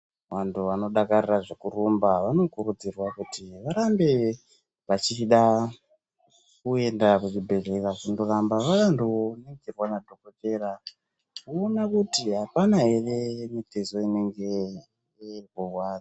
Vantu vanodakarira zvekurumba vanokurudzirwa kuti varambe vachida kuenda kuzvibhedhlera kundoramba vandoningirwa nadhokodheya voona kuti apana here mitezo inenge urikurwadza.